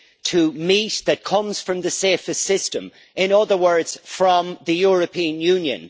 to meat that comes from the safest system in other words, from the European Union.